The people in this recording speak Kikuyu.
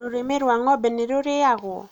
rũrĩmĩ rwa ngombe nĩ rũrĩagwo?